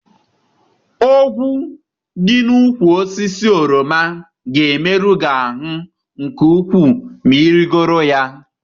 Ogwu dị n'úkwù osisi oroma ga-emerụ gị ahụ nke ukwuu ma ị rịgoro ya.